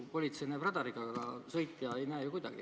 Politsei näeb radariga, aga sõitja ei näe ju kuidagi.